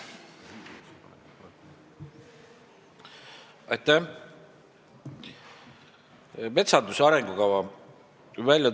Aitäh!